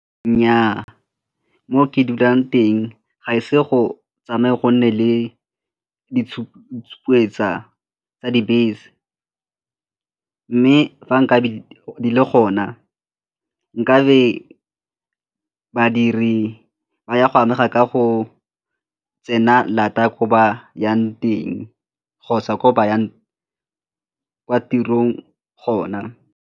Nnyaa, mo ke dulang teng ga ise go tsamaya go nne le tsa dibese mme fa nka le gona nkabe badiri ba ya go amega ka go tsena lata ko ba yang teng kgotsa ko ba yang tirong gona.